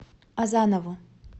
азанову